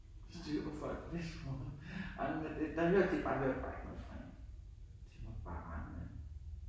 Styr på folk på den måde og den der der hørte man bare ikke noget fra en de måtte bare regne med